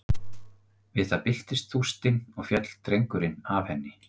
Við það byltist þústin og féll drengurinn af henni.